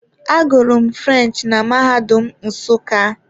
Agụrụ m French na mahadum nsuka.